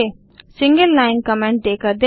single line comment देकर देखें